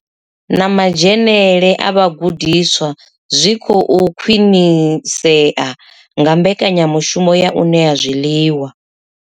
Na madzhenele a vhagudiswa zwi khou khwinisea nga mbekanyamushumo ya u ṋea zwiḽiwa.